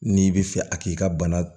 N'i bɛ fɛ a k'i ka bana